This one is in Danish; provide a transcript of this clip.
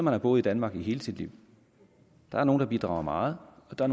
har boet i danmark i hele sit liv der er nogle der bidrager meget og der